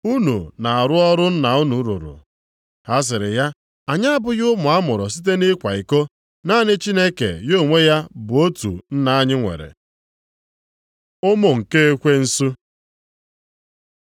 Unu na-arụ ọrụ nna unu rụrụ.” Ha sịrị ya, “Anyị abụghị ụmụ a mụrụ site nʼịkwa iko; naanị Chineke ya onwe ya bụ otu Nna anyị nwere.” Ụmụ nke Ekwensu